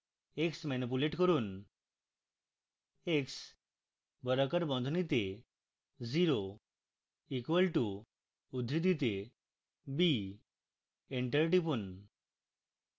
x manipulate করুন